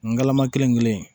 N galama kelen kelen